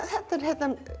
þetta er